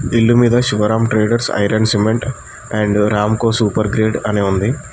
ఇల్లు మీద Shivaram traders iron cement and Ramco super grade అని ఉంది.